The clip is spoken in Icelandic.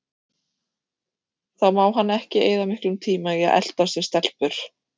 Þá má hann ekki eyða miklum tíma í að eltast við stelpur.